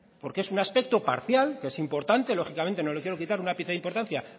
porque es un aspecto parcial que es importante lógicamente no le quiero quitar un ápice de importancia